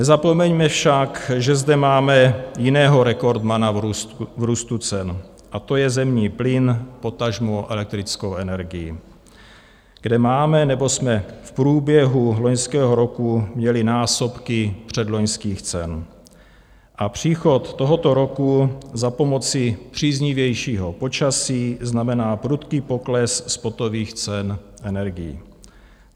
Nezapomeňme však, že zde máme jiného rekordmana v růstu cen, a to je zemní plyn, potažmo elektrickou energii, kde máme, nebo jsme v průběhu loňského roku měli násobky předloňských cen, a příchod tohoto roku za pomoci příznivějšího počasí znamená prudký pokles spotových cen energií.